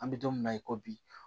An bɛ don min na i ko bi